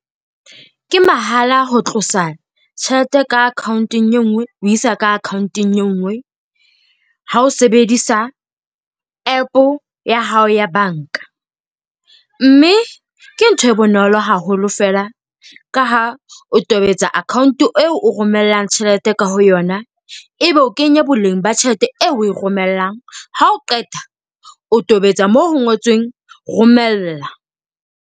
Ke mahala ho tlosa tjhelete ka account-eng e nngwe ho isa ka account-eng e nngwe ha o sebedisa APP ya hao ya banka. Mme ke ntho e bonolo haholo fela, ka ha o tobetsa account eo o romellang tjhelete ka ho yona. Ebe o kenya boleng ba tjhelete eo o romelang. Ha o qeta o tobetsa moo ho ngotsweng romella.